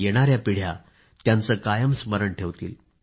येणाया पिढ्या त्यांचं कायम स्मरण ठेवतील